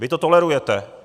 Vy to tolerujete.